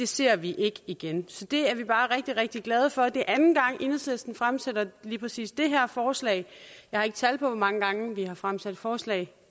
ser vi ikke igen så det er vi bare rigtig rigtig glade for det er anden gang at enhedslisten fremsætter lige præcis det her forslag jeg har ikke tal på hvor mange gange vi har fremsat forslag